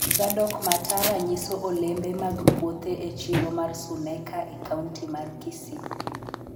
Zadock Matara nyiso olembe mag puothe e chiro mar Suneka e Kaunti mar Kisii.